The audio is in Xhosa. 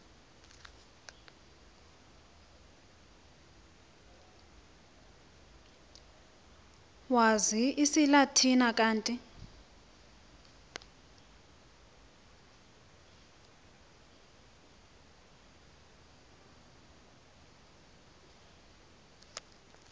owazi isilatina kanti